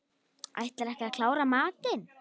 Ætlarðu ekki að klára matinn?